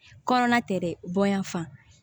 Kɔnɔna tɛ dɛ bonya fan